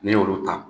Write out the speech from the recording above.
N'i y'olu ta